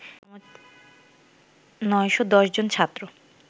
৯১০ জন ছাত্র